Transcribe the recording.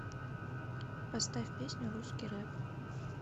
поставь песню русский рэп